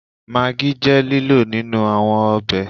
Maggi je lilo ninu awọn ọbẹ